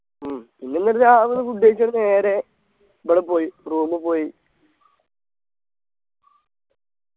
ഉം പിന്നെന്തച്ചാ അവിടുന്ന് food കഴിച്ചങ് നേരെ ഇവിടെ പോയി room ഇ പോയി